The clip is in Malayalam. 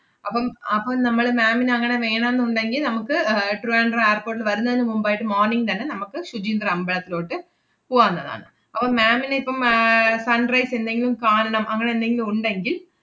അപ്പം അപ്പം നമ്മള് ma'am ന് അങ്ങനെ വേണോന്നുണ്ടെങ്കി നമ്മക്ക് ഏർ ട്രിവാൻഡ്രം airport ല് വരുന്നതിന് മുമ്പായിട്ട് morning തന്നെ നമ്മക്ക് ശുചീന്ദ്രം അമ്പലത്തിലോട്ട് പൂവാന്നതാണ്. അപ്പം ma'am ന് ഇപ്പം ആഹ് sunrise എന്തെങ്കിലും കാണണം അങ്ങനെ എന്തെങ്കിലും ഉണ്ടെങ്കിൽ,